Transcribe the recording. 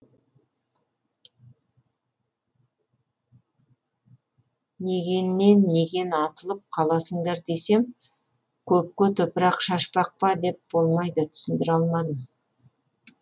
негеннен неген атылып қаласыңдар десем көпке топырақ шашпақ па деп болмайды түсіндіре алмадым